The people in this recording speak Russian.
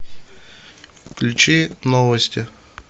включи новости